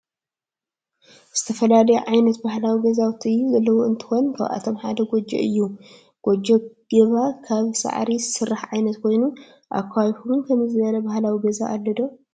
ዝተፈላለዩ ዓይነት ባህላዊ ገዛውቲ ዘለዎ እንትኮን ካብአቶም ሓደ ጎጆ እዩ። ጎጆ ገባ ካበ ሳዕሪ ዝስራሕ ዓይነት ኮይኑ አብ ከባቢኩም ከ ከምዚ ዝበለ ባህላዊ ገዛ አሎ ዶ?